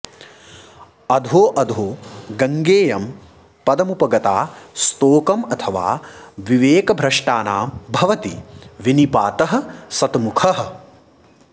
अधोऽधो गङ्गेयं पदमुपगता स्तोकमथवा विवेकभ्रष्टानां भवति विनिपातः शतमुखः